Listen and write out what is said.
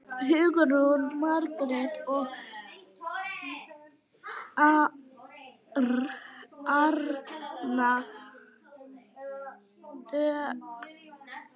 Hugrún Arna og Margrét Dögg.